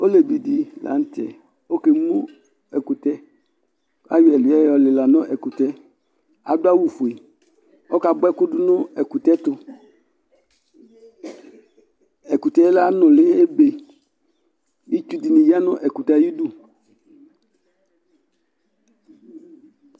olévi di la tɛ kɔ ké mu ɛkutɛ ayɔ ɛdiɛ yɔlila nu ɛkutɛ adu awu foé kɔ ka boa ɛku du nu ɛkutɛ tu ɛkutɛ la nuli ébé itsu dini ya nu ɛkutɛ ayi du